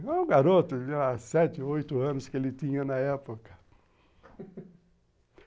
É o garoto de sete, oito anos que ele tinha na época.